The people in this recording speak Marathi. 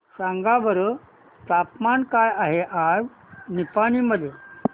सांगा बरं तापमान काय आहे आज निपाणी मध्ये